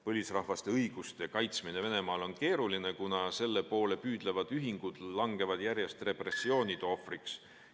Põlisrahvaste õiguste kaitsmine Venemaal on keeruline, kuna selle poole püüdlevad ühingud langevad järjest repressioonide ohvriks.